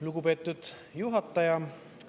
Lugupeetud juhataja!